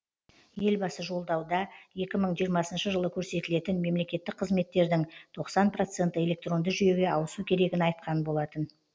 елбасы жолдауда екі мың жиырмасыншы жылы көрсетілетін мемлекеттік қызметтердің тоқсан проценті электронды жүйеге ауысу керегін айтқан болатын